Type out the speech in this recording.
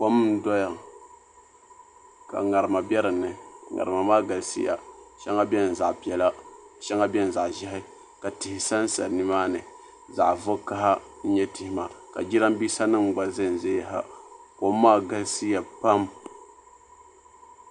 Kom n doya ka ŋarima bɛ dinni ŋarima maa galisiya shɛŋa biɛni zaɣ piɛla shɛŋa biɛni zaɣ ʒiɛhi ka tihi sansa nimaa ni zaɣ vakaɣa n nyɛ tihi maa ka jiranbiisa nim gba ʒɛn ʒɛya ha kom maa galisiya pam